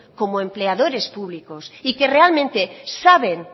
como empleadores públicos y que realmente saben